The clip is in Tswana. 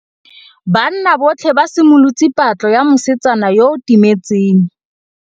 Banna botlhê ba simolotse patlô ya mosetsana yo o timetseng.